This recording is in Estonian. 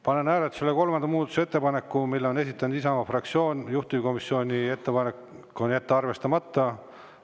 Panen hääletusele kolmanda muudatusettepaneku, mille on esitanud Isamaa fraktsioon, juhtivkomisjoni ettepanek on jätta arvestamata.